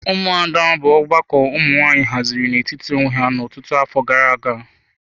Ụmụada bụ ọgbakọ ụmụ nwanyị haziri n'etiti onwe ha ọtụtụ afọ gara aga.